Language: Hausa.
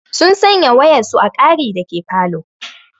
Sun sanya waƴansu a ƙari dake falo.